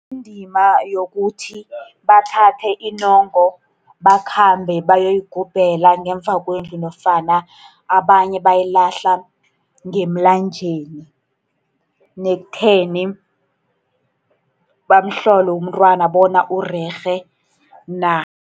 Indima yokuthi bathathe inyongo, bakhambe bayoyigubhela ngemva kwendlu, nofana abanye bayilahla ngemlanjeni. Nekutheni bamhlole umntwana bona urerhe na.